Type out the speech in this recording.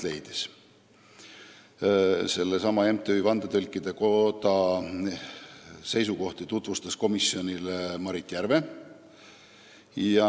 MTÜ Vandetõlkide Koda seisukohti tutvustas komisjonile Maris Järve.